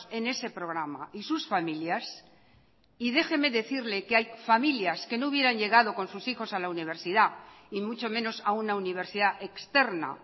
en ese programa y sus familias y déjeme decirle que hay familias que no hubieran llegado con sus hijos a la universidad y mucho menos a una universidad externa